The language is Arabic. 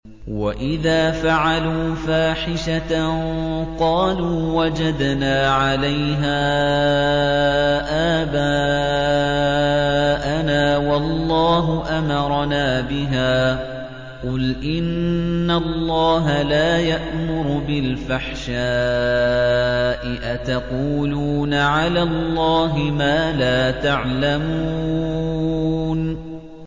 وَإِذَا فَعَلُوا فَاحِشَةً قَالُوا وَجَدْنَا عَلَيْهَا آبَاءَنَا وَاللَّهُ أَمَرَنَا بِهَا ۗ قُلْ إِنَّ اللَّهَ لَا يَأْمُرُ بِالْفَحْشَاءِ ۖ أَتَقُولُونَ عَلَى اللَّهِ مَا لَا تَعْلَمُونَ